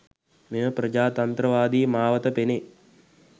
මෙම ප්‍රජාතන්ත්‍රවාදී මාවත පෙනේ.